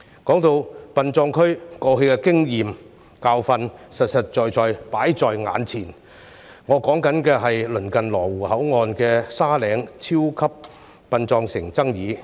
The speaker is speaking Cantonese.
說到殯葬區，過去的經驗教訓實實在在放在眼前，我所指的是鄰近羅湖口岸"沙嶺超級殯葬城"的爭議。